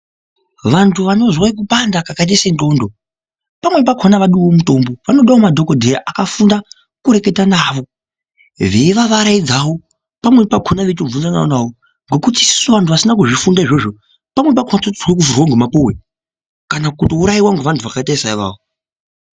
Vantu vanozwe kupanda kakaita sendxondo pamweni pakhona avadiwo mutombo, vanodawo madhokodheya akafunda kureketa navo veivavaraidzawo, pamweni pakhona veitobvunzanawo navo. Ngekuti isusu vantu vasina kuzvifunda izvozvo pamweni pakhona totya kufunga ndomapuwe, kana kutouraiwa ngovantu vakaita saivavo.